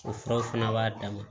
O furaw fana b'a dama